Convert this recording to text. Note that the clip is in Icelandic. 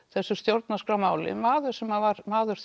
þessu stjórnarskrármáli maður sem var maður